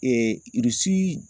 Irisi